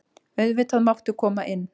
Auðvitað máttu koma inn.